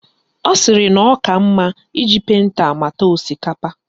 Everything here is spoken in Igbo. Ọ sịrị na ọ ka mma iji penta mata osikapa